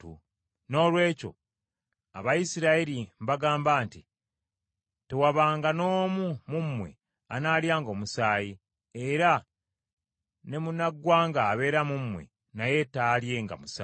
Noolwekyo Abayisirayiri mbagamba nti tewabanga n’omu mu mmwe anaalyanga omusaayi, era ne munnaggwanga abeera mu mmwe naye taalyenga musaayi.